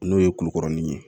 N'o ye kukɔrɔnin ye